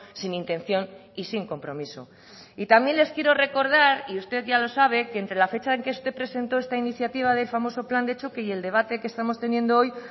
sin intención y sin compromiso y también les quiero recordar y usted ya lo sabe que entre la fecha en que usted presentó esta iniciativa del famoso plan de choque y el debate que estamos teniendo hoy